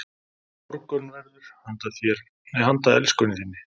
Morgunverður handa elskunni þinni